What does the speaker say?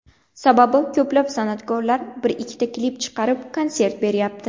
Sababi ko‘plab san’atkorlar bir-ikkita klip chiqarib, konsert beryapti.